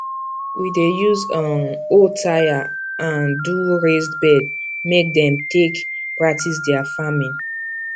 we dey use um old tyre um do raised bed make dem take practise their farming